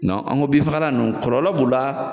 an ga bin fagala nunnu kɔlɔlɔ b'u la